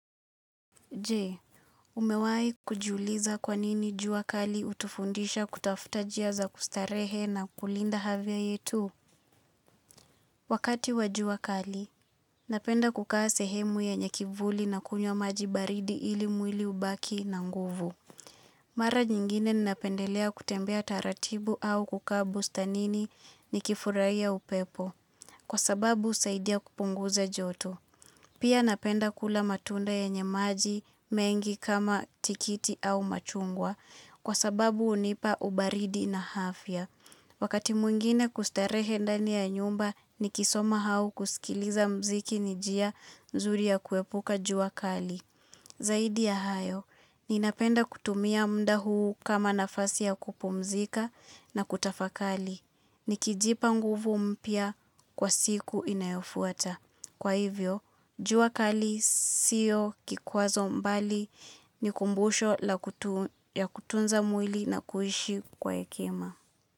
Je, umewahi kujiuliza kwanini jua kali hutufundisha kutafuta njia za kustarehe na kulinda afya yetu? Wakati wa jua kali, napenda kukaa sehemu yenye kivuli na kunywa maji baridi ili mwili ubaki na nguvu. Mara nyingine ninapendelea kutembea taratibu au kukaa bustanini nikifurahia upepo, kwa sababu husaidia kupunguza joto. Pia napenda kula matunda yenye maji mengi kama tikiti au machungwa kwa sababu hunipa ubaridi na afya Wakati mwingine kustarehe ndani ya nyumba nikisoma au kusikiliza mziki ni njia nzuri ya kuepuka jua kali. Zaidi ya hayo, ninapenda kutumia muda huu kama nafasi ya kupumzika na kutafakari Nikijipa nguvu mpya kwa siku inayofuata. Kwa hivyo, jua kali siyo kikwazo bali ni kumbusho la kutunza mwili na kuishi kwa hekima.